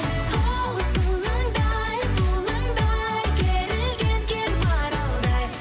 хоу сылаңдай бұлаңдай керілген кер маралдай